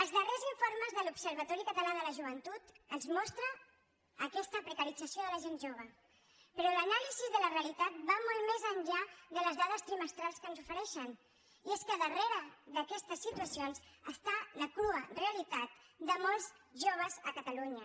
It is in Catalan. els darrers informes de l’observatori català de la joventut ens mostren aquesta precarització de la gent jove però l’anàlisi de la realitat va molt més enllà de les dades trimestrals que ens ofereixen i és que darrere d’aquestes situacions està la crua realitat de molts joves a catalunya